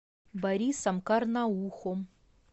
борисом карнаухом